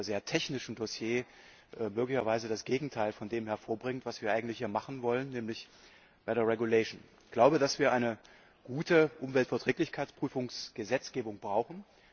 sehr technischen Dossier möglicherweise das Gegenteil von dem hervorbringt, was wir eigentlich hier machen wollen, nämlich eine Verordnung. Ich glaube, dass wir eine gute Umweltverträglichkeitsprüfungsgesetzgebung brauchen.